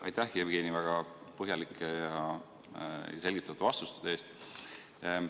Aitäh, Jevgeni, väga põhjalike ja selgitavate vastuste eest!